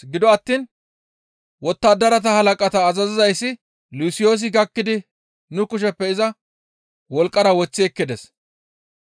gido attiin wottadarata halaqata azazizayssi Lusiyoosi gakkidi nu kusheppe iza wolqqara woththi ekkides.